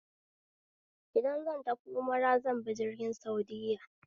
Idan zan tafi umra zanbi jirgin saudiya